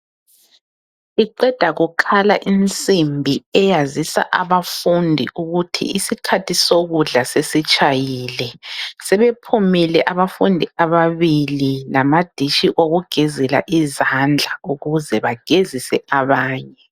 Iqeda kukhala insimbi eyazisa abafundi ukuthi isikhathi sokudla sesitshayile. Sebephumile abafundi ababili lamadishi okugezela izandla ukuze bagezise abanye.